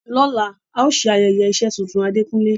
Lola, a o se ayeye ise tuntun Adekunle